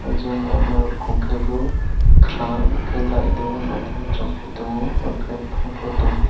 janla ma monkey bo karang ke light deia ma dia chung fi tongo are chung fi.